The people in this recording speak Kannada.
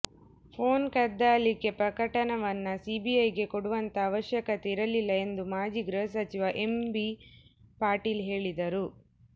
ಫೋನ್ ಕದ್ದಾಲಿಕೆ ಪ್ರಕರಣವನ್ನ ಸಿಬಿಐಗೆ ಕೊಡುವಂತಹ ಅವಶ್ಯಕತೆ ಇರಲಿಲ್ಲ ಎಂದು ಮಾಜಿ ಗೃಹ ಸಚಿವ ಎಂ ಬಿ ಪಾಟೀಲ್ ಹೇಳಿದರು